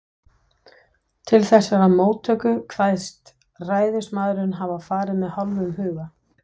Til þessarar móttöku kveðst ræðismaðurinn hafa farið með hálfum huga.